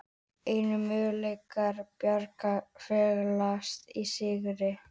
Einu möguleikar Braga felast í sigri